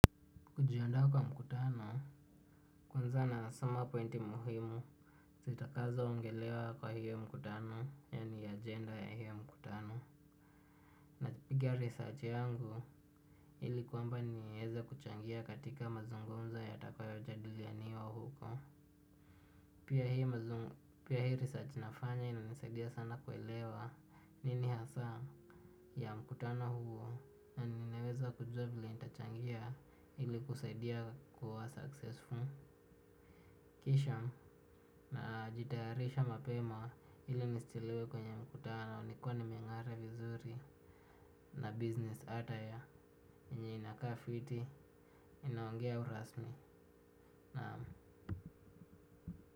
Kujiandaa kwa mkutano, kwanza nasoma pointi muhimu. Zitakazo ongelewa kwa hiyo mkutano, yani agenda ya hiyo mkutano. Napigia research yangu, ili kwamba nieze kuchangia katika mazungumzo yatakayo jadiliania huko. Pia hii mazungu, pia hii research nafanya inanisaidia sana kuelewa nini hasa ya mkutano huo na ninaweza kujua vile nitachangia ili kusaidia kuwa successful. Kisha najitayarisha mapema ili nisichelewe kwenye mkutano nikiwa nimeng'ara vizuri na business attire enye inakaa fiti inaongea urasmi na.